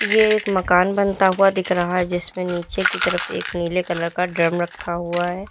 यह एक मकान बनता हुआ दिख रहा है जिसमें नीचे की तरफ एक नीले कलर का ड्रम रखा हुआ है।